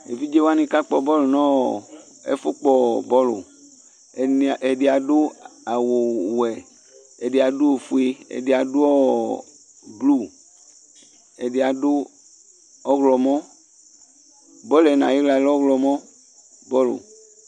Evidze waŋi kakpɔ bɔlʋ ŋu ɛƒu kpɔ bɔlʋ Ɛdí aɖu awu wɛ Ɛdí aɖu ɔfʋe Ɛɖì aɖu blue Ɛdí aɖu ɔwlɔmɔ Bɔlʋ ŋu ayiɣla lɛ ɔwlɔmɔ